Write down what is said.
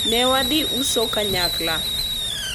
ne wadhi uso kanyakla